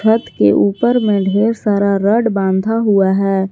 छत के ऊपर में ढेर सारा रड बाधा हुआ है।